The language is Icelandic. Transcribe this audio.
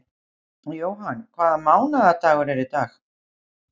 Johan, hvaða mánaðardagur er í dag?